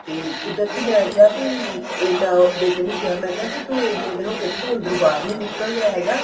ਤੇ ਕੁਦਰਤੀ ਮੈਂ ਕਿਆ ਵੀ ਅਹ ਮੈਂ ਬੇਟੇ ਨੂੰ ਕਿਆ ਮੈਂ ਕਿਆ ਵੀ ਤੂੰ ਇੰਨੇ ਦਿਨ ਹੋ ਗਏ ਤੂੰ ਅੰਦਰੋ ਬਾਹਰ ਨੀਂ ਨਿਕਲਿਆ ਹੈਗਾ